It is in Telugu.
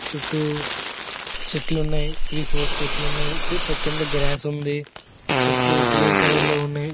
చుట్టూ చెట్లున్నాయి త్రి ఫోర్ చెట్లున్నాయి. చ కింద గ్రాస్ ఉంది. చెట్లు గ్రీన్ కలర్లో ఉన్నాయి.